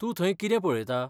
तूं थंय कितें पळयता?